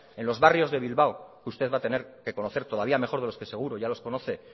en los barrios de bilbao que usted va a tener que conocer todavía de lo que seguros ya los conoce